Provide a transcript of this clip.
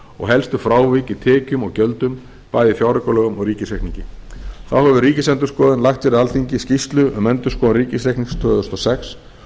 og helstu frávik í tekjum og gjöldum bæði í fjáraukalögum og ríkisreikningi þá hefur ríkisendurskoðun lagt fyrir alþingi skýrslu um endurskoðun ríkisreiknings tvö þúsund og sex